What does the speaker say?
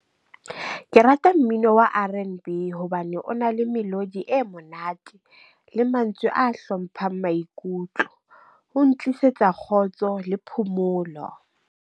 Ke rata mmino wa R_N_B hobane o na le melodi e monate le mantswe a hlomphang maikutlo ho ntlisetsa kgotso le phomolo.